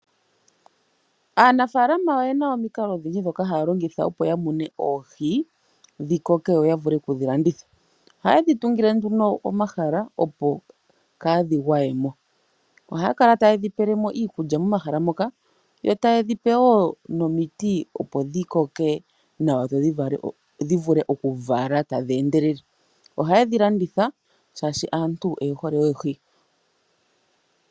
Aanafalama oyena omikala odhindji ndhoka haya longitha opo yamune oohi dhikoke yo ya yavule okudhi landitha. Ohaye dhitungile nduno omahala opo kaadhi gwayemo . Oha kala taye dhipelemo iikulya momahala moka yataye dhipe wo nomiti opo dhikoke nawa dho dhivule oku vala tadhi endelele. Ohaye dhilanditha shaashi aantu oye hole oohi .